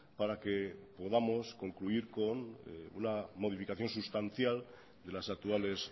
para que podamos concluir con una modificación sustancial de las actuales